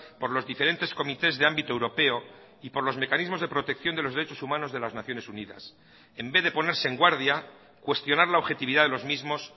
por los diferentes comités de ámbito europeo y por los mecanismos de protección de los derechos humanos de las naciones unidas en vez de ponerse en guardia cuestionar la objetividad de los mismos